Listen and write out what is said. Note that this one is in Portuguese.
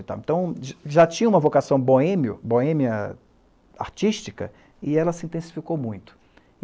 Então, já já, tinha uma vocação boêmio, boêmia artística e ela se intensificou muito.